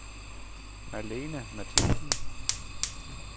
Malene Mathiesen